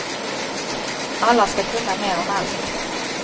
Alla ska kunna mer om allt.